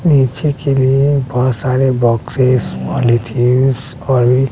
नीचे के लिए बहोत सारे बॉक्सेस पॉलिथिंन्स और--